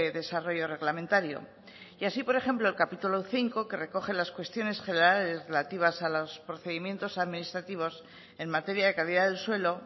desarrollo reglamentario y así por ejemplo el capítulo quinto que recoge las cuestiones generales relativas a los procedimientos administrativos en materia de calidad del suelo